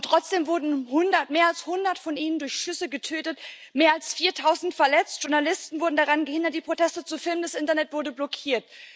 Trotzdem wurden mehr als hundert von ihnen durch Schüsse getötet, mehr als viertausend verletzt, Journalisten wurden daran gehindert, die Proteste zu filmen, das Internet wurde blockiert.